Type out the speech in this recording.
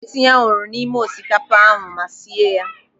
Ọ ga-etinye anwụrụ n'ime osikapa ahụ ma sie ya.